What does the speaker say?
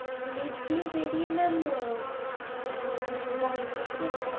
lift দিয়ে বেরিয়ে mam মানে ডান দিকে